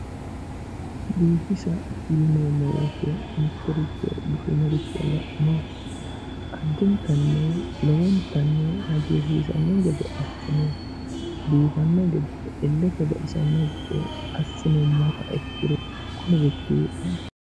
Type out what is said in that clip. biifisa yineemmo wote mittoricho bushinoricho la'ne addintanno lowontanni hagiirsiisanno gede assine biifanno gede illetenni baxisanno gede assinummoha ikkiro kunirichi.